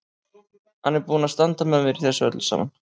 Hann er búinn að standa með mér í þessu öllu saman.